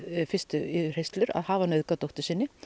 fyrstu yfirheyrslu að hafa nauðgað dóttur sinni